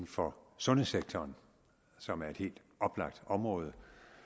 for sundhedssektoren som er et helt oplagt område